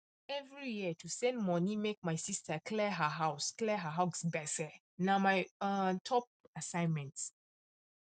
every year to send money make my sister clear her house clear her house gbese na my um top assignment